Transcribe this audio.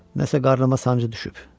Nəsə qarnıma sancı düşüb.